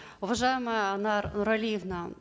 уважаемая анар нуралиевна